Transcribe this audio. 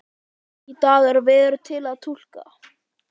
Í dag er veður til að túlka